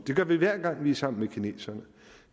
det gør vi hver gang vi er sammen med kineserne vi